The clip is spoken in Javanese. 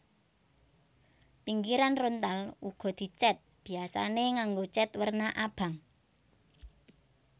Pinggiran rontal uga dicèt biyasané nganggo cèt werna abang